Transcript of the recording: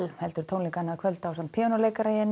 heldur tónleika annað kvöld ásamt píanóleikara í einum